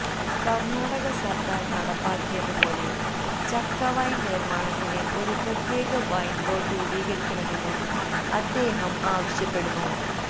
കർണ്ണാടക സർക്കാർ നടപ്പാക്കിയതു പോലെ ചക്കവൈൻ നിർമ്മാണത്തിന് ഒരു പ്രത്യേക വൈൻ ബോർഡ് രൂപീകരിക്കണമെന്നും അദ്ദേഹം ആവശ്യപ്പെടുന്നു